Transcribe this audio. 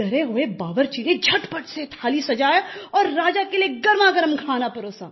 डरे हुए बावर्ची ने झट पट से थाली सजाया और राजा के लिए गरमागर्म खाना परोसा